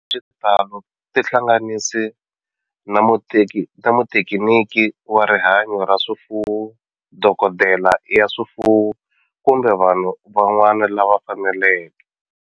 Hi xitalo tihlanganisi na muthekiniki wa rihanyo ra swifuwo, dokodela ya swifuwo, kumbe vanhu van'wana lava fanelekeke.